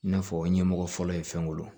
I n'a fɔ ɲɛmɔgɔ fɔlɔ ye fɛn wolo